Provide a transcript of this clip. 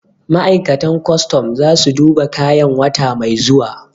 Ma'aikatan kwastam za su duba kayan wata mai zuwa